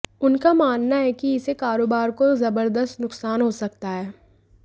उनका मानना है कि इससे कारोबार को जबरदस्त नुकसान हो सकता है